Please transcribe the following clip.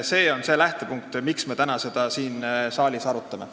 See on see lähtepunkt, miks me täna seda teemat siin saalis arutame.